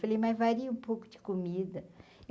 Falei, mas varia um pouco de comida.